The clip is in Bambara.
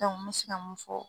Dɔnku n me se ka mun fɔ